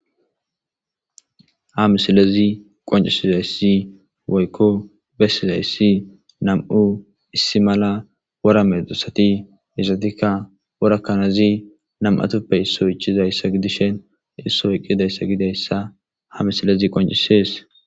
Hamisilezi qoncisizayssi woykko bessizayssi nam'u issi mala wora medosati isatikka worakanazi nam'atuppe yisso ichizayssa gidishen issoy qidayssa gidayssa hamisilezi qoncisees.